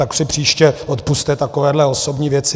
Tak si příště odpusťte takovéhle osobní věci.